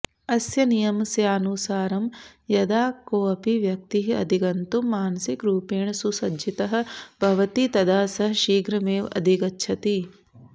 अस्य नियमस्यानुसारं यदा कोऽपि व्यक्तिः अधिगन्तुं मानसिकरूपेण सुसज्जितः भवति तदा सः शीघ्रमेव अधिगच्छति